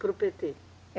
Para o Pêtê?